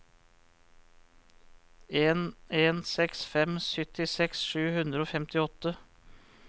en en seks fem syttiseks sju hundre og femtiåtte